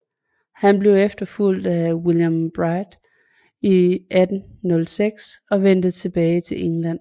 Han blev efterfulgt af William Bligh i 1806 og vendte tilbage til England